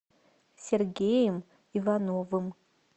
сергеем ивановым